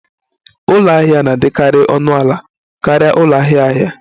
Ụlọ ahịa na-adịkarị ọnụ ala karịa ụlọ ahịa ahịa